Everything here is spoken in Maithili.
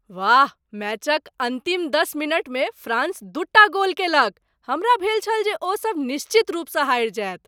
वाह! मैचक अन्तिम दस मिनटमे फ्रांस दूटा गोल कयलक! हमरा भेल छल जे ओ सभ निश्चित रूपसँ हारि जायत।